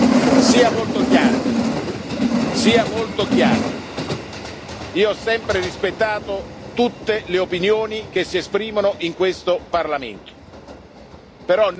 Io ho sempre rispettato tutte le opinioni che si esprimono in questo Parlamento, però non tollero che questa Aula si trasformi in un circo.